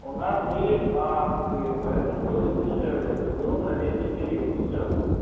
у нас были акции поэтому было дешевле это было на летний период сейчас